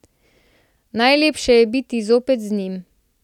Najlepše je bilo zapeti z njim.